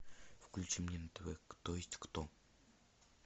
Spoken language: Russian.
включи мне на тв кто есть кто